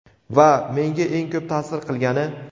Va menga eng ko‘p ta’sir qilgani.